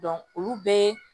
olu bɛɛ